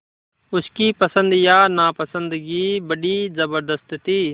उसकी पसंद या नापसंदगी बड़ी ज़बरदस्त थी